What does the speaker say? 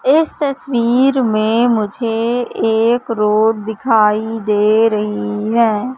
इस तस्वीर में मुझे एक रोड दिखाई दे रही है।